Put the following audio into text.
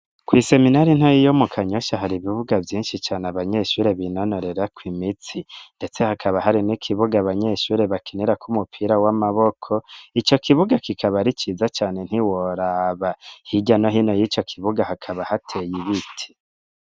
Kw'iseminari ntoyi yo mu Kanyosha hari ibibuga vyinshi cane abanyeshure binonorerako imitsi, ndetse hakaba hari n'ikibuga abanyeshuri bakinirako umupira w'amaboko, ico kibuga kikaba ari ciza cane ntiworaba, hirya no hino y'ico kibuga hakaba hateye ibiti.